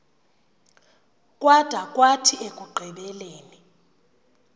kwada kwathi ekugqibeleni